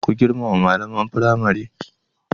Ku girmama malaman firamare.